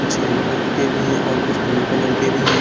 कुछ yellow colour के भी हैं और कुछ ब्लू कलर के भी हैं।